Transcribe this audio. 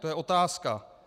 To je otázka.